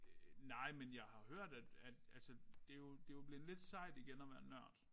Øh nej men jeg har hørt at at altså det jo det jo blevet lidt sejt igen at være en nørd